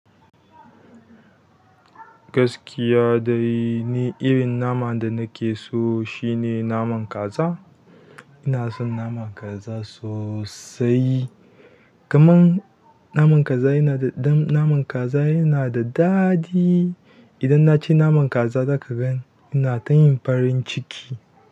Gaskiya dai ni irin naman da nakeso shine naman kaza. Ina son naman kaza sosai. Kaman naman kaza yana da, ɗan naman kaza yana da daɗi. Idan naci naman kaza zaka gan ina tayin farin ciki.